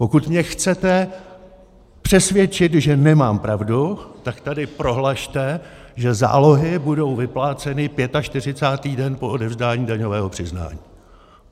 Pokud mě chcete přesvědčit, že nemám pravdu, tak tady prohlašte, že zálohy budou vypláceny 45. den po odevzdání daňového přiznání.